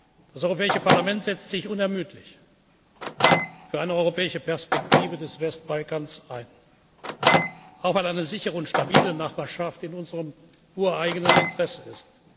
zu vertreten. Das Europäische Parlament setzt sich unermüdlich für eine europäische Perspektive des Westbalkans ein, auch weil eine sichere und stabile Nachbarschaft in unserem ureigenen